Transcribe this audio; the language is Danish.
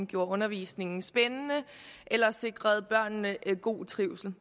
gjorde undervisningen spændende eller sikrede børnene god trivsel